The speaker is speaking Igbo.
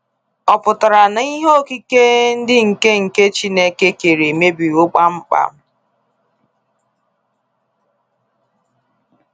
Ọ pụtara na ihe okike ndị nke nke Chineke kere emebiwo kpamkpam?